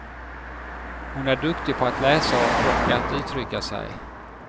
Hon är duktig på att läsa och att uttrycka sig.